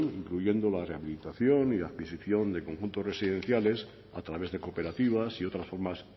incluyendo la rehabilitación y adquisición de conjuntos residenciales a través de cooperativas y otras formas